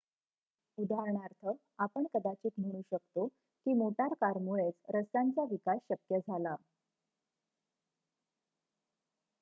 उदाहरणार्थ आपण कदाचित म्हणू शकतो की मोटर कार मुळेच रस्त्यांचा विकास शक्य झाला